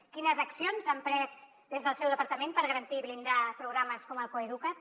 quines accions s’ha emprès des del seu departament per garantir i blindar programes com el coeduca’t